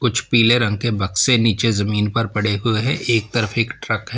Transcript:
कुछ पीले रंग के बक्से नीचे जमीन पर पड़े हुए हैं एक तरफ एक ट्रक है।